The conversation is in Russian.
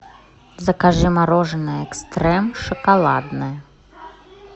закажи мороженое экстрем шоколадное